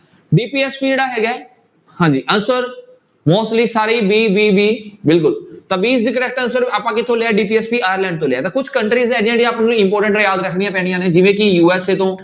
DPSP ਜਿਹੜਾ ਹੈਗਾ ਹੈ ਹਾਂਜੀ answer mostly ਸਾਰੇ ਹੀ b, b, b ਬਿਲਕੁਲ ਤਾਂ b is the correct answer ਆਪਾਂ ਕਿੱਥੋਂ ਲਿਆ ਹੈ DPSP ਆਇਰਲੈਂਡ ਤੋਂ ਲਿਆ ਤਾਂ ਕੁਛ countries important ਹੈ ਯਾਦ ਰੱਖਣੀਆਂ ਪੈਣੀਆਂ ਨੇ ਜਿਵੇਂ ਕਿ USA ਤੋਂ